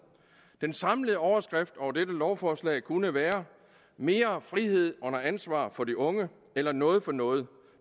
den samlede overskrift over dette lovforslag kunne være mere frihed under ansvar for de unge noget for noget